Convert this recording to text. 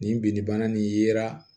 Nin binnibana nin yera